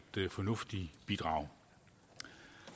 fornuftigt bidrag